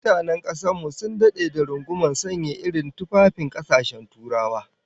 Mutanen kasar mu sun dade da rungumar sanya irin tufafin kasashen Turawa